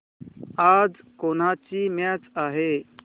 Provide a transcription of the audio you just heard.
आज कोणाची मॅच आहे